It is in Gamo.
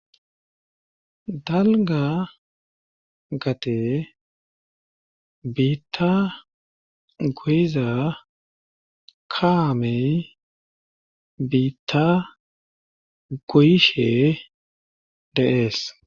dalga gade biitta goyiza kaamey biitta goyishe de'ees